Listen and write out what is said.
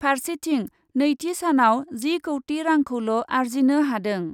फार्सेथिं नैथि सानाव जि कौटि रांखौल' आरजिनो हादों ।